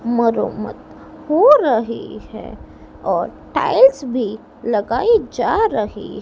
मरोमत हो रही है और टाइल्स भी लगाइ जा रही है।